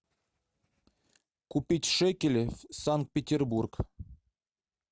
купить шекели санкт петербург